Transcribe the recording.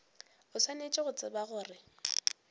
o swanetše go tseba gore